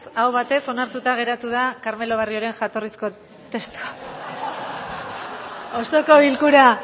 aho batez onartuta geratu da carmelo barrioren jatorrizko testua